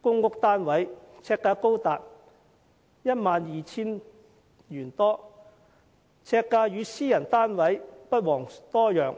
公屋單位，呎價高達 12,000 多元，與私人單位不遑多讓。